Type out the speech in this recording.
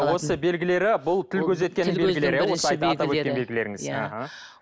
осы белгілері бұл тіл көз